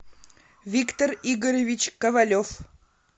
виктор игоревич ковалев